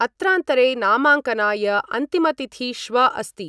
अत्रान्तरे, नामाङ्कनाय अन्तिमतिथि श्व अस्ति।